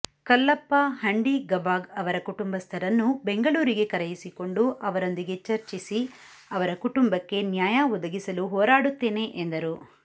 ಕಲ್ಲಪ್ಪ ಹಂಡಿಗಭಾಗ್ ಅವರ ಕುಟುಂಬಸ್ಥರನ್ನು ಬೆಂಗಳೂರಿಗೆ ಕರೆಯಿಸಿಕೊಂಡು ಅವರೊಂದಿಗೆ ಚರ್ಚಿಸಿ ಅವರ ಕುಟುಂಬಕ್ಕೆ ನ್ಯಾಯ ಒದಗಿಸಲು ಹೋರಾಡುತ್ತೇನೆ ಎಂದರು